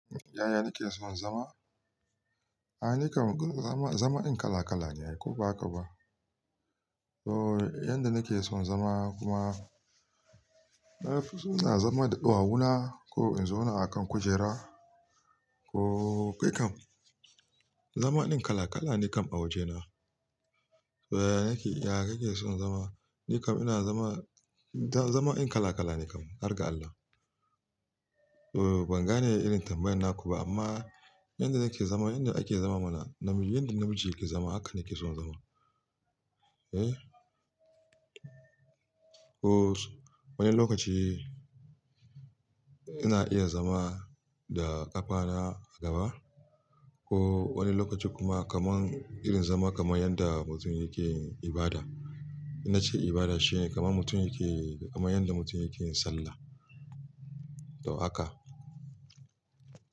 Yaya nake son zama? A'a, nake zama, zama in kala kala ne ko ba haka ba. So yanda nake son zama kuma na fi so na zama da ɗawawuna ko in zo na a kan kujera ko kai kam zama ɗin kala kala ne kam a wajena. Eh, ya kake son zama? Ni kam ina zama, zama in kala kala ne kam, har ga Allah. Eh, ban gane irin tambayan naku ba amma yanda nake zama, yanda ake zama mana, yanda namiji yake zama haka nake son zama. Eh, ko wani lokaci ina iya zama da ƙafana a gaba ko wani lokaci kuma kaman irin zama kaman yanda mutum yake ibada. Inna ce ibada shine kaman mutum yake, kaman yanda mutum yake sallah. To haka.